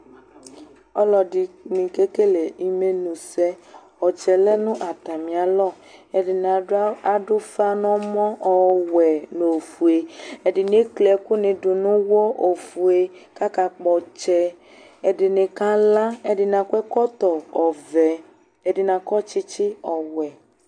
Ɔlɔdini kekele imenu sɛ ɔtsɛ lɛ nu atamialɔ ɛdini adu ufa nu ɔmɔ ɔwɛ nu ofue ɛdini ekli ɛku du nu uwɔ ofue kakakpɔ ɔtsɛ ɛdini kala ɛdini akɔ ɛkɔtɔ ɔvɛ ɛdini akɔ tsitsi ɔwɛ